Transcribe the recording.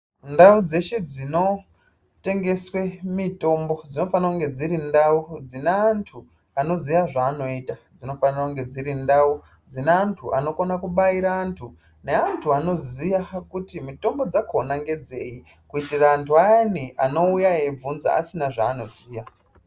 Ndau dzeshe dzinotengeswe mitombo dzinofanire kunge dziri ndau dzine antu anoziya zvaanoita, dzinofanira kunge dziri ndau dzine antu anokone kubaira antu, neantu anoziya kuti mitombo dzakona ngedzeyi kuitira antu ayani anouya eibvunza asina zvaanoziya.